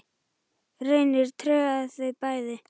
Reynir tregaði þau bæði.